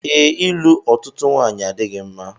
Ee, ịlụ otutu nwanyị adịghị mma